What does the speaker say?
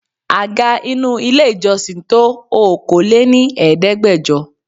Àga inú ilé ìjọsìn tó Okòó lé ní Ẹ̀ẹ́dẹ́gbẹjọ.